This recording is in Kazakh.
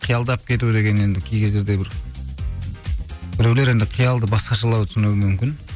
қиялдап кету деген енді кей кездерде бір біреулер енді қиялды басқашалау түсінуі мүмкін